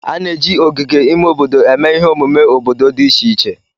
A na-eji ogige ime obodo eme ihe omume obodo dị iche iche